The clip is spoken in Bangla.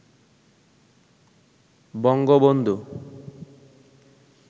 বঙ্গবন্ধু